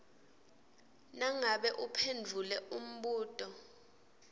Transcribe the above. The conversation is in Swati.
nangabe uphendvule umbuto